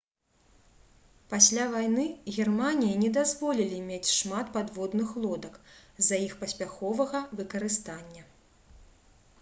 пасля вайны германіі не дазволілі мець шмат падводных лодак з-за іх паспяховага выкарыстання